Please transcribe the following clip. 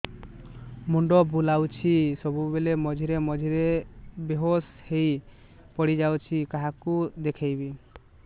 ମୁଣ୍ଡ ବୁଲାଉଛି ସବୁବେଳେ ମଝିରେ ମଝିରେ ବେହୋସ ହେଇ ପଡିଯାଉଛି କାହାକୁ ଦେଖେଇବି